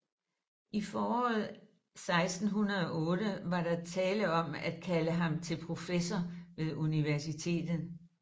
I foråret 1608 var der tale om at kalde ham til professor ved universitetet